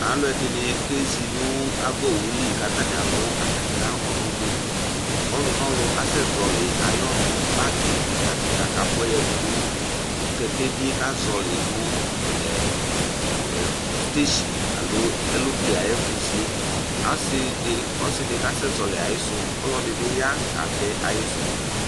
Alʋɛdɩnɩ kezi nʋ ava owu li kʋ atanɩ alʋ atamɩ ɔnʋnɩ Ɔlʋnɔlʋ asɛzɔɣɔlɩ ayʋ ɔnʋ, bagɩ kɩka kɩka kʋ afʋa yǝdu nʋ kɛkɛvi yɛ kʋ azɔɣɔlɩ nʋ ɛ ɛ ɔ stesin alo elople ayʋ ɛfʋzi yɛ Asɩ dɩ, ɔsɩ dɩ kasɛzɔɣɔlɩ ayɩsʋ kʋ ɔlɔdɩ bɩ ya katɛ ayɩsʋ